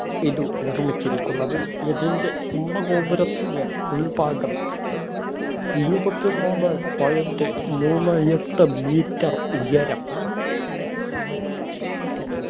ഇതു നിർമ്മിച്ചിരിക്കുന്നത് കുംഭ ഗോപുരത്തിന് ഉൾഭാഗം ഇരുപത്തി നാലേ point മൂന്നേ എട്ട് metre ഉയരം